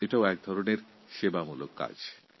এটাও একরকমের সেবামূলক কাজ